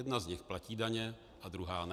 Jedna z nich platí daně a druhá ne.